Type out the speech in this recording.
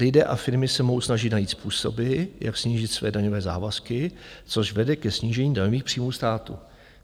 Lidé a firmy se mohou snažit najít způsoby, jak snížit své daňové závazky, což vede ke snížení daňových příjmů státu.